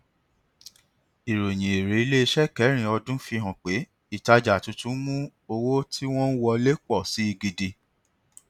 ìròyìn èrè iléiṣẹ kẹrin ọdún fi hàn pé ìtajà tuntun mú owó tí wọn ń wọlé pọ si gidi